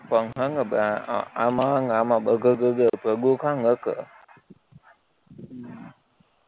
એટલે હમ